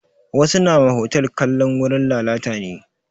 Wasu nama hotal kalan wurin lalata ne